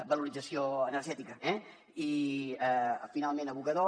valoració energètica i finalment abocador